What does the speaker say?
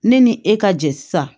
Ne ni e ka jɛ sisan